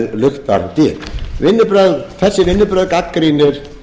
luktar dyr þessi vinnubrögð gagnrýnir